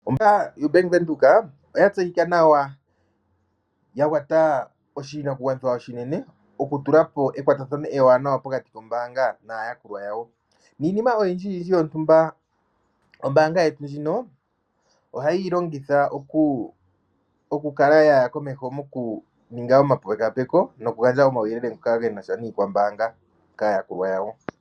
Ombaanga yoBank Windhoek oya tseyika nawa ya kwata oshinakugwanithwa oshinene okutula po ekwatathano ewanawa pokati kombaanga naayakulwa yawo. Niinima oyindjiyindji yontumba ombaanga yetu ndjino ohayi yi longitha okukala ya ninga omapekapeko nokugandja omauyelele ngoka ge na sha niikwambaanga kaayakulwa yawo.